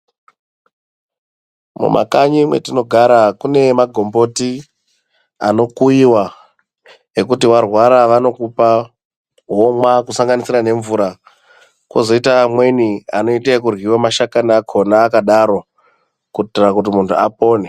Mumakanyi matinogara mune magomboti anokuyiwa vokupa womwa kusanganisa nemvura kozoita amweni anoita ekuryiwa mashakani akona akadaro kuitira kuti munhu apone.